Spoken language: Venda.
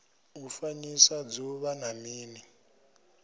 u fanyisa dzuvha na mini